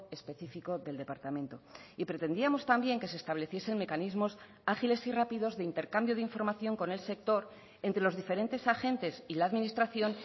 específico del departamento y pretendíamos también que se estableciesen mecanismos ágiles y rápidos de intercambio de información con el sector entre los diferentes agentes y la administración